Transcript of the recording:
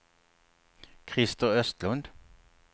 Krister Östlund